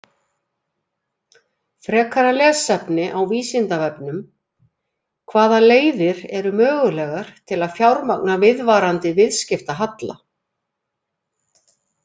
Frekara lesefni á Vísindavefnum: Hvaða leiðir eru mögulegar til að fjármagna viðvarandi viðskiptahalla?